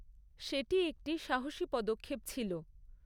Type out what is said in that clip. সেটি একটি সাহসী পদক্ষেপ ছিল।